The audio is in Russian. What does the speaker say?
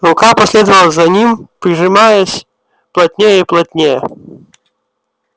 рука последовала за ним прижимаясь плотнее и плотнее